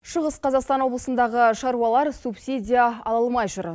шығыс қазақстан облысындағы шаруалар субсидия ала алмай жүр